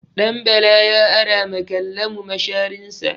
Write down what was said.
Ɗanbala ya ara ma Kallamu masharinsa.